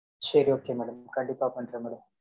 சரி, okay madam. கண்டிப்பா, பண்றேன், madam.